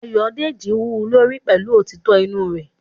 Ayodeji wú u lórí pẹ̀lú òtítọ́ inú rẹ̀